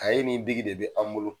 ye ni biki de bɛ an bolo.